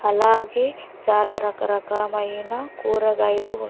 అలాగే చాలా రకరకమైన కూరగాయలు ఉన్--